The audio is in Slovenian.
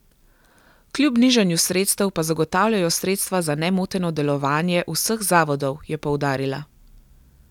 Kljub nižanju sredstev pa zagotavljajo sredstva za nemoteno delovanje vseh zavodov, je poudarila.